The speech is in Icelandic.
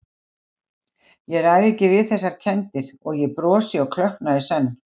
Ég ræð ekki við þessar kenndir- og ég brosi og klökkna í senn.